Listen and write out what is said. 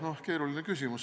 Noh, keeruline küsimus.